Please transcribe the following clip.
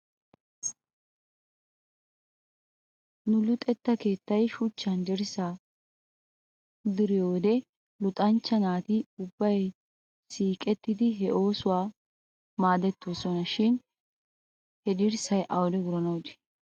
Nu luxetta keettay shuchchan dirssaa diriyoo wodiyan luxanchcha naati ubbay siiqettidi he oosuwaa maadettidosona shin he dirssay awde wuranaw de'ii?